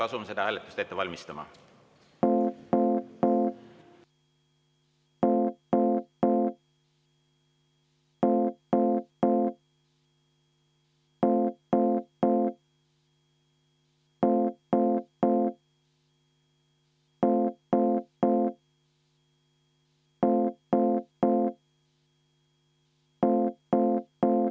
Asume seda hääletust ette valmistama.